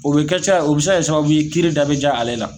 O bɛ kɛ ca o bɛ se ka kɛ sababu ye kiiri da bɛ jaa ale la.